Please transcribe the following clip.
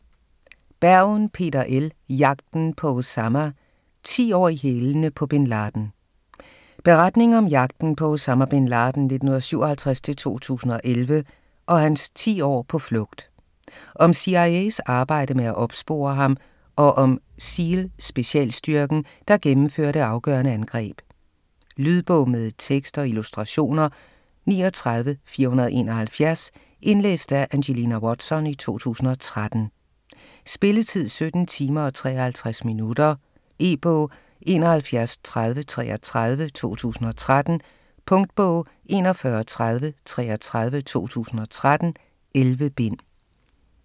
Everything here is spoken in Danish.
Bergen, Peter L.: Jagten på Osama: ti år i hælene på Bin Laden Beretning om jagten på Osama Bin Laden (1957-2011) og hans 10 år på flugt. Om CIA's arbejde med at opspore ham og om SEAL-specialstyrken, der gennemfører det afgørende angreb. Lydbog med tekst og illustrationer 39471 Indlæst af Angelina Watson, 2013. Spilletid: 17 timer, 53 minutter. E-bog 713033 2013. Punktbog 413033 2013. 11 bind.